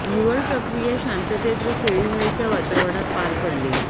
निवड प्रक्रि या शांततेत व खेळीमेळीच्या वातावरणात पार पडली